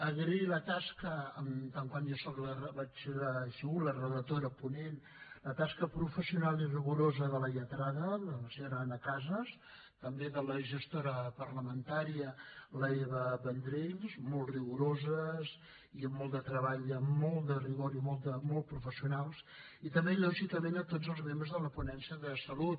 agrair en tant que n’he sigut la relatora ponent la tasca professional i rigorosa de la lletrada la senyora anna casas i també de la gestora parlamentària l’eva vendrell molt rigoroses amb molt de treball amb molt de rigor i molt professionals i també lògicament donar les gràcies a tots els membres de la ponència de salut